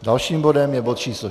Dalším bodem je bod číslo